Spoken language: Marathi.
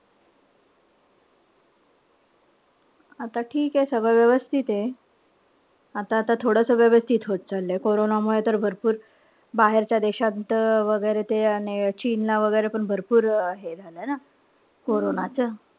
आता ठीके सगळं व्यवस्थित ए. आता-आता थोडं सगळं व्यवस्थित होत चाललंय. कोरोनामुळे तर भरपूर बाहेरच्या देशात त वैगेरे ते अन हे चीन ला वगैरे भरपूर ए झालं ना. कोरोनाच.